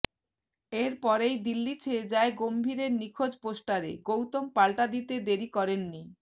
এর পরেই দিল্লি ছেয়ে যায় গম্ভীরের নিখোঁজ পোস্টারে গৌতম পাল্টা দিতে দেরি করেননি